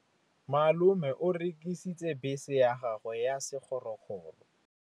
Malome o rekisitse bese ya gagwe ya sekgorokgoro.